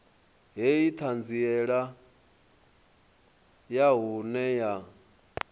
hei ṱhanziela ya vhuṅe ya